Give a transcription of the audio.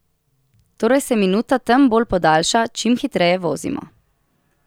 Torej se minuta tem bolj podaljša, čim hitreje vozimo.